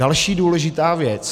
Další důležitá věc.